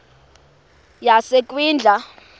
yasekwindla